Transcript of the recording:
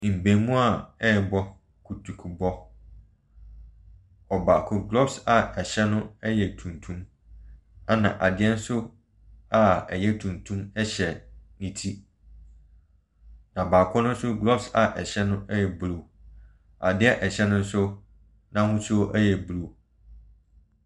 Mmarimaa rebɔ kutukurubɔ. Ɔbaako, glovers a ɛhyɛ no yɛ tuntum, ɛna adeɛ nso a ɛyɛ tuntum hyɛ ne ti. Na baako no nso, gloves a ɛhyɛ no yɛ blue. Adeɛ a ɛhyɛ no nso n'ahosuo yɛ blue.